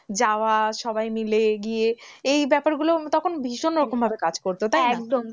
যাওয়া সবাই মিলে সবাই মিলে গিয়ে এই ব্যাপার গুলো তখন ভীষণ রকম ভাবে কাজ করতো তাই না?